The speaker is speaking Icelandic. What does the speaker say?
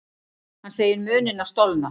Hann segir munina stolna.